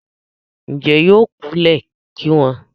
Ǹjẹ́ yóò kú lẹ̀ ki wọn?